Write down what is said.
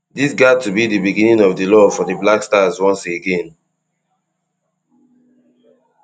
dis gat to be di beginning of di love for di black stars once again